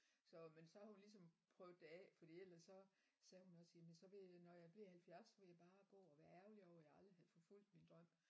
Så men så har hun ligesom sådan prøvet det af fordi ellers så sagde hun også jamen så ville jeg da når jeg bliver 70 bare ville jeg bare gå og være ærgerlig over jeg aldrig havde forfulgt min drøm